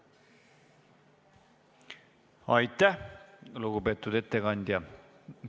Aitäh, lugupeetud ettekandja!